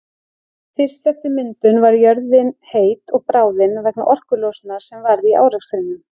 Fyrst eftir myndun var jörðin heit og bráðin vegna orkulosunar sem varð í árekstrunum.